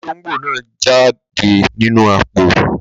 Olóngbò náà jáde nínú àpò.